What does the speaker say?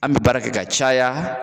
An bɛ baara kɛ ka caya